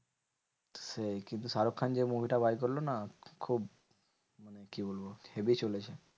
সেই কিন্তু শাহরুখ খান যে movie টা বার করলো না? খুব কি বলবো? হেবি চলেছে।